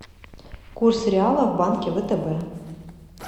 курс реала в банке втб